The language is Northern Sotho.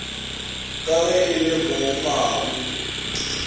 ka ge e le mogmabu